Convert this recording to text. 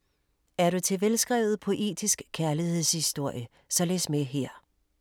Er du til en velskrevet poetisk kærlighedshistorie, så læs med her.